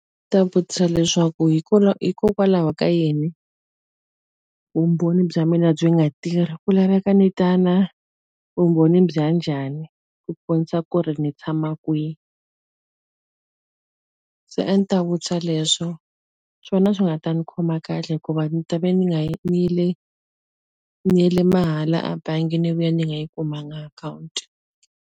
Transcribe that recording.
Ndzi ta vutisa leswaku hikokwalaho ka yini, vumbhoni bya mina byi nga tirhi? Ku laveka ni ta na vumbhoni bya njhani ku kombisa ku ri ni tshama kwihi? Se a ndzi ta vutisa leswo. Swona a swi nga ta ni khoma kahle hikuva ndzi ta va ni nga ni yile ni yele mahala ebangi ni vuya ni nga yi kumanga akhawunti.